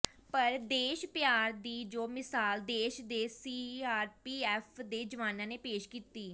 ਪਰ ਦੇਸ਼ ਪਿਆਰ ਦੀ ਜੋ ਮਿਸਾਲ ਦੇਸ਼ ਦੇ ਸੀਆਰਪੀਐੱਫ ਦੇ ਜਵਾਨਾਂ ਨੇ ਪੇਸ਼ ਕੀਤੀ